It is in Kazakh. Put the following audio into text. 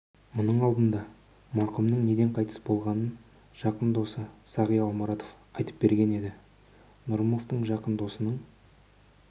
мұның алдында марқұмның неден қайтыс болғанын жақын досы сағи алмұратов айтып берген еді нұрымовтың жақын досының